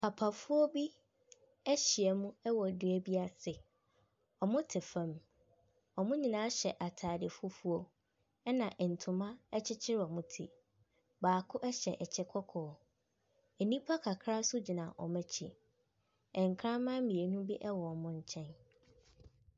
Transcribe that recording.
Papafoɔ bi ahyiam wɔ dua bi ase. Wɔte fam. Wɔn nyinaa hyɛ ataade fufuo. Ɛna ntoma kyerekyere wɔn ti. Baako hyɛ kyɛ kɔkɔɔ. Nnipa kakra nso gyina wɔn akyi. Nkraman mmienu bi wɔ nkyɛn.